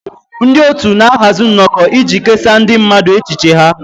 Ndị otu na-ahazi nnọkọ iji kesaa ndị mmadụ echiche ha